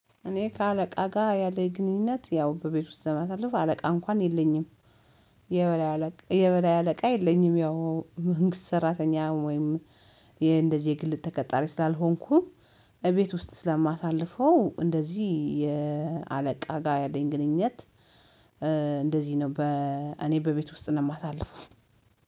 እኔ ከአለቃ ጋር ያለኝ ግንኙነት ያው በቤት ውስጥ ስለማሳልፍ አለቃ እንኳን የለኝም። የበላይ አለቃ የበላይ አለቃ የለኝም ያው መንግስት ሰራተኛ ወይም እንደዚህ የግል ተቀጣሪ ስላልሆንኩ እቤት ውስጥ ስለማሳልፈው እንደዚህ የአለቃ ጋር ያለኝ ግንኙነት። ነው በ እኔ በቤት ውስጥ ነው የማሳልፈው